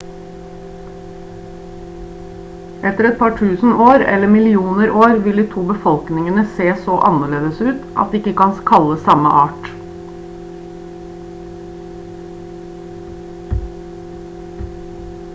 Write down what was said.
etter et par tusen år eller etter millioner år vil de to befolkningene se så annerledes ut at de ikke kan kalles samme art